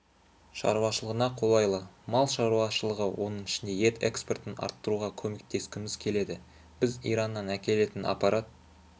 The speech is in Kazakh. шаруашылығына қолайлы мал шаруашылығы оның ішінде ет экспортын арттыруға көмектескіміз келеді біз ираннан әкелетін аппарат